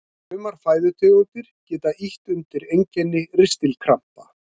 Sumar fæðutegundir geta ýtt undir einkenni ristilkrampa.